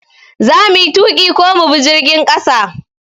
Za muyi tuƙi ko mu bi jirgin ƙasa?